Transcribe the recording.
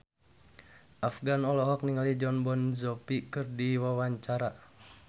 Afgan olohok ningali Jon Bon Jovi keur diwawancara